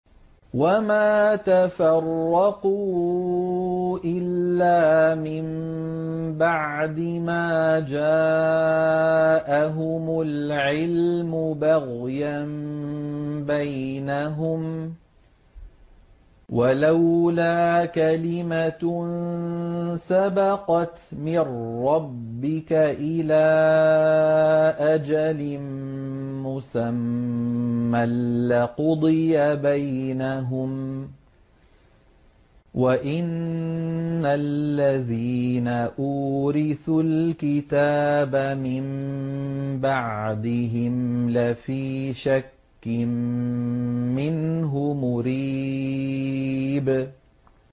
وَمَا تَفَرَّقُوا إِلَّا مِن بَعْدِ مَا جَاءَهُمُ الْعِلْمُ بَغْيًا بَيْنَهُمْ ۚ وَلَوْلَا كَلِمَةٌ سَبَقَتْ مِن رَّبِّكَ إِلَىٰ أَجَلٍ مُّسَمًّى لَّقُضِيَ بَيْنَهُمْ ۚ وَإِنَّ الَّذِينَ أُورِثُوا الْكِتَابَ مِن بَعْدِهِمْ لَفِي شَكٍّ مِّنْهُ مُرِيبٍ